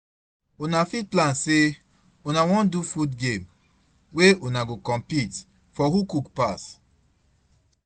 Una fit plan sey una wan do food game, wey una go compete for who cook pass